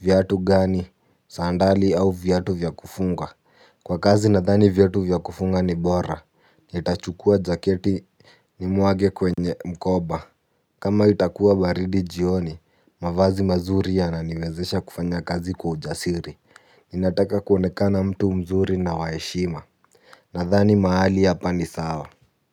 viatu gani, sandali au viatu vya kufunga. Kwa kazi nadhani viatu vya kufunga ni bora, nitachukua jaketi nimwage kwenye mkoba. Kama itakua baridi jioni, mavazi mazuri yananiwezesha kufanya kazi kwa ujasiri. Ninataka kuonekana mtu mzuri na wa heshima. Nadhani mahali hapa ni sawa.